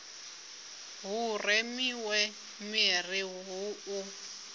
hu remiwe miri hu u